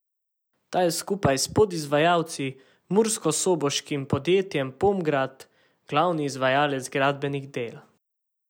Ta je skupaj s podizvajalci, murskosoboškim podjetjem Pomgrad, glavni izvajalec gradbenih del.